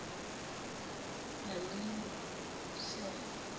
lalingusera